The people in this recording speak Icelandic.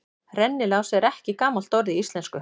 Rennilás er ekki gamalt orð í íslensku.